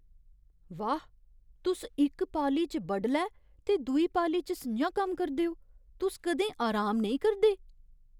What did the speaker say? वाह्! तुस इक पाली च बडलै ते दूई पाली च स'ञां कम्म करदे ओ! तुस कदें आराम नेईं करदे?